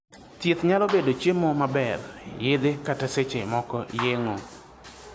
Thieth nyalo bedo cheimo maber, yedhe kata seche moko yeng'o.